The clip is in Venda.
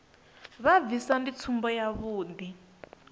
vha bvisa ndi tsumbo yavhuḓi